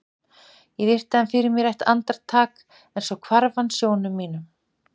Ég virti hann fyrir mér eitt andar- tak en svo hvarf hann sjónum mínum.